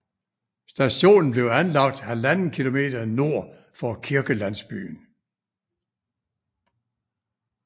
Stationen blev anlagt ½ km nord for kirkelandsbyen